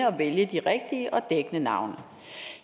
og vælge de rigtige og dækkende navne